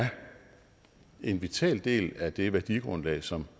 en vital del af det værdigrundlag som